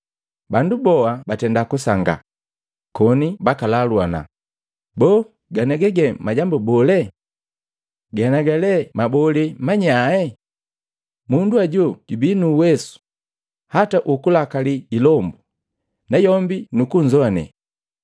Bandu boa batenda kusangaa, koni bakalaluana, “Boo ganiaga ge majambu bolee? Ganiaga lee mabole manyae? Mundu ajo jubii nu uwesu hata ukulakalii ilombu, na yombi nukunzoane!”